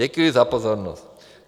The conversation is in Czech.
Děkuji za pozornost.